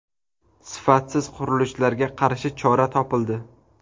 Sifatsiz qurilishlarga qarshi chora topildi.